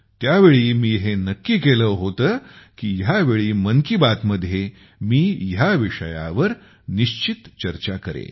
त्यावेळी मी हे नक्की केले होते की ह्या वेळी मन की बात मध्ये मी ह्या विषयवार निश्चित चर्चा करेन